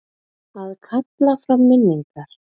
Að kalla fram minningar